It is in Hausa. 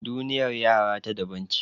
Duniyar yara ta daban ce.